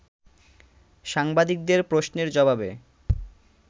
সাংবাদিকদের প্রশ্নের জবাবে